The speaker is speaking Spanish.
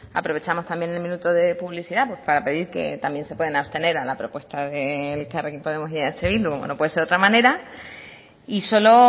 aprovechamos también el minuto de publicidad para pedir que también se pueden abstener a la propuesta de elkarrekin podemos y eh bildu como no puede ser de otra manera y solo